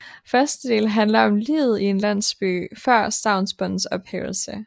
Første del handler om livet i en landsby før stavnsbåndets ophævelse